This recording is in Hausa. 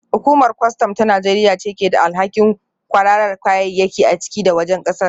Hukumar kwastam ta Najeriya ce ke da alhakin kwararar kayayyaki a ciki da wajen kasar